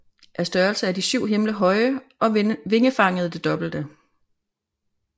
Af størrelse er de syv himle høje og vingefanget det dobbelte